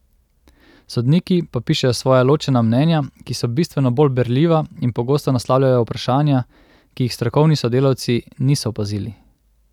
Sodniki pa pišejo svoja ločena mnenja, ki so bistveno bolj berljiva in pogosto naslavljajo vprašanja, ki jih strokovni sodelavci niso opazili.